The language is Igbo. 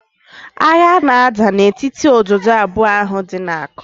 Agha na-ada na etiti ododo abụọ ahụ dị na Aku